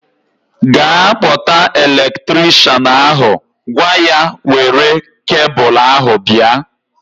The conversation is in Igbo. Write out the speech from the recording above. Ga kpọta elektrikshan ahu! Gwa ya were kebul ahu bịa